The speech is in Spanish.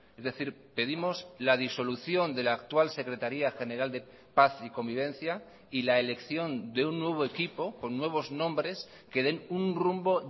es decir pedimos la disolución de la actual secretaría general de paz y convivencia y la elección de un nuevo equipo con nuevos nombres que den un rumbo